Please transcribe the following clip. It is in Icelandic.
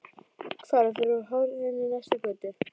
Hvarf fyrir horn inn í næstu götu.